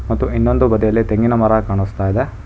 ಮತ್ತು ಇನ್ನೊಂದು ಬದಿಯಲ್ಲಿ ತೆಂಗಿನ ಮರ ಕಾಣಿಸ್ತಾ ಇದೆ.